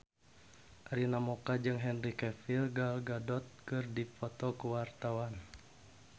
Arina Mocca jeung Henry Cavill Gal Gadot keur dipoto ku wartawan